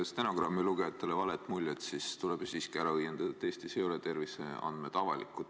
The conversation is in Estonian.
Et stenogrammi lugejatele vale muljet ei jääks, tuleb siiski ära õiendada, et Eestis ei ole terviseandmed avalikud.